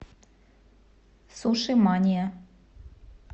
суши мания